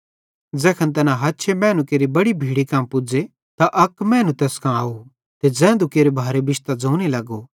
ज़ैखन तैना हछे मैनू केरि बड़ी भीड़ी कां पुज़े त अक मैनू तैस कां आव ते ज़ैधू केरे भारे बिश्तां ज़ोने लगो